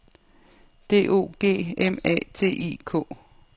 D O G M A T I K